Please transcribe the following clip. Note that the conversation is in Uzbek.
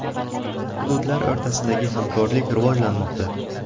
Hududlar o‘rtasidagi hamkorlik rivojlanmoqda.